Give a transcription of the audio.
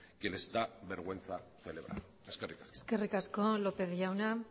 que les da vergüenza celebrar eskerrik asko eskerrik asko lópez jauna